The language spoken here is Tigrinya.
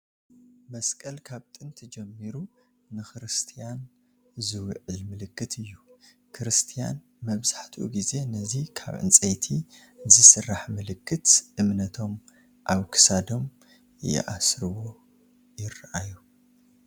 መስቀል ካብ ጥንቲ ጀሚሩ ንክርስቲያን ዝውክል ምልክት እዩ፡፡ ክርስቲያን መብዛሕትኡ ግዜ ነዚ ካብ ዕንጨይቲ ዝስራሕ ምልክት እምነቶም ኣብ ክሳዶም ይሲሮምዎ ይርአዩ፡፡